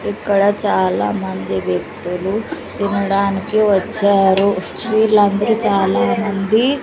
ఇక్కడ చాలా మంది వ్యక్తులు తినడానికి వచ్చారు వీళ్ళందరూ చాలామంది--